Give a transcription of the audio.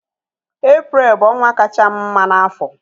Eprel bụ ọnwa kachaa m mma n'afọ